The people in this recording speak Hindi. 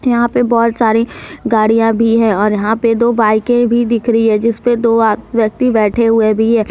यहां पे बहोत सारी गाड़ियां भी है और यहां पे दो बाइके भी दिख रही है जिस पे दो आ व्यक्ति बैठे हुए भी है।